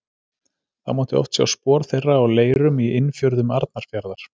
Þá mátti oft sjá spor þeirra á leirum í innfjörðum Arnarfjarðar.